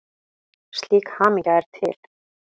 Slík hamingja er til.